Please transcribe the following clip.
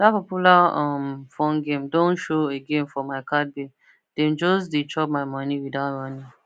that popular um phone game don show again for my card bill dem just dey chop my money without warning